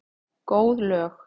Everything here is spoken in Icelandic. Góð lög.